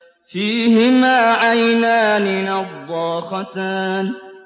فِيهِمَا عَيْنَانِ نَضَّاخَتَانِ